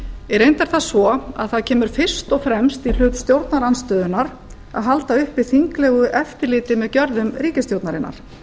í reynd er það svo að það kemur fyrst og fremst í hlut stjórnarandstöðunnar að halda uppi þinglegu eftirliti með gjörðum ríkisstjórnarinnar